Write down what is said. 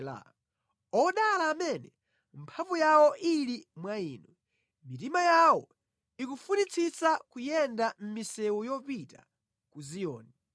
Odala amene mphamvu yawo ili mwa Inu, mitima yawo ikufunitsitsa kuyenda mʼmisewu yopita ku Ziyoni.